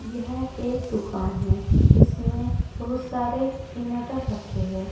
यह एक दुकान है इसमें बहुत सारे इनवर्टर रखे हैं।